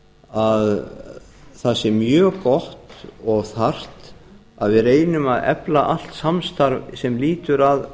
að það sé mjög gott og þarft að við reynum að efla allt samstarf sem lýtur að